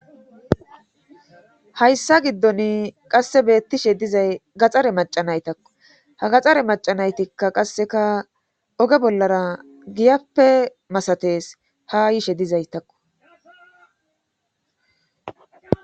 hayssa giddon qasse beettishe dizay gaxxare macanaytakku ha gaxare macanaytikka qasseka oge bollara giyappe masates ha yiishe dizaytakko